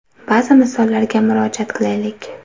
Ba’zi misollarga murojaat qilaylik.